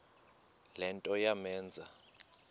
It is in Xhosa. le nto yamenza